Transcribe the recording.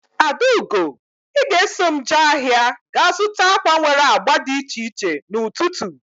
Adaugo! I ga eso m jee ahịa ga zụta akwa nwere agba dị iche iche n'ututu